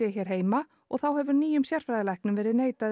hér heima og þá hefur nýjum sérfræðilæknum verið neitað